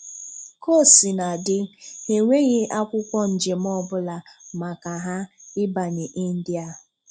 Ka o sina dị, ha enweghi akwụkwọ njem ọbụla maka ha ịbanye India.'